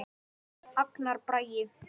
Agnar Bragi.